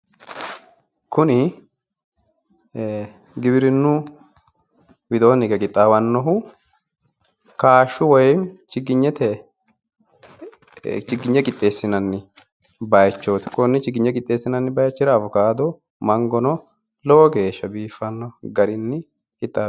kuni ee giwirinnu widoonni hige qixxaawannohu kaashshu woyimmi chigginyete qixxeessinanni bayiichooti konne chigginye qixxeessinanni bayichira awukaato mangono lowo geeshsha biiffanno garinni qixxaabbino.